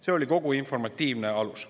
See oli kogu informatiivne alus.